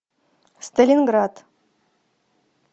сталинград